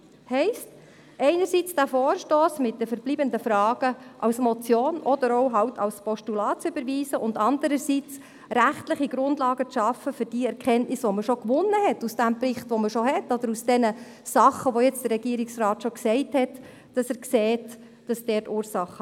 Das heisst einerseits, sie will diesen Vorstoss mit den verbleibenden Fragen als Motion oder dann eben als Postulat überweisen, andererseits rechtliche Grundlagen schaffen für die Erkenntnisse aus dem Bericht, der bereits vorliegt, oder für das, von dem der Regierungsrat sagt, dort lägen die Ursachen.